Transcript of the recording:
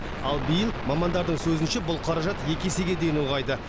ал биыл мамандардың сөзінше бұл қаражат екі есеге дейін ұлғайды